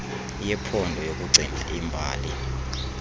yephondo yokugcina iimbalo